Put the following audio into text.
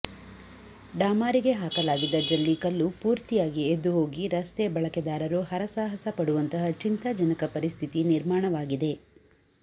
ಡಾಮಾರಿಗೆ ಹಾಕಲಾಗಿದ್ದ ಜಲ್ಲಿಕಲ್ಲು ಪೂರ್ತಿಯಾಗಿ ಎದ್ದು ಹೋಗಿ ರಸ್ತೆಯ ಬಳಕೆದಾರರು ಹರಸಾಹಸ ಪಡುವಂತಹ ಚಿಂತಾಜನಕ ಪರಿಸ್ಥಿತಿ ನಿರ್ಮಾಣವಾಗಿದೆ